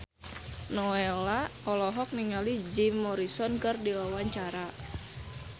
Nowela olohok ningali Jim Morrison keur diwawancara